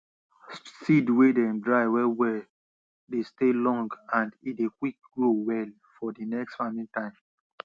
seed wey dem dry well well dey stay long and e dey quick grow well for d next farming time